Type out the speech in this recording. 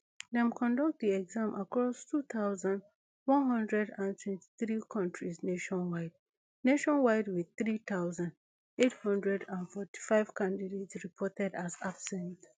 dem conduct di exam across two thousand, one hundred and twenty-three countries nationwide nationwide wit three thousand, eight hundred and forty-five candidates reported as absent